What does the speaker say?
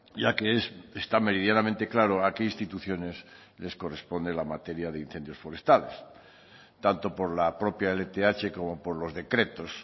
ya que está meridianamente claro a qué instituciones les corresponde la materia de incendios forestales tanto por la propia lth como por los decretos